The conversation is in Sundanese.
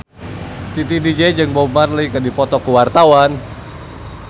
Titi DJ jeung Bob Marley keur dipoto ku wartawan